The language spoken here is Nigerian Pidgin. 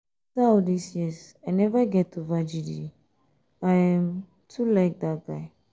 um after all dis years i never get over jide i um too like dat guy